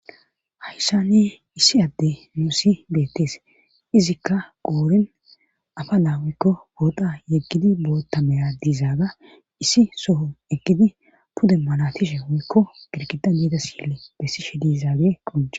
hayssanne issi adde nuussi beettes izikka qoorin afa naawikko booda yeggidi boottameya diizaaga issi soho eggidi pude malatishe woykko girkida meeda sille bessi she dizaage qonce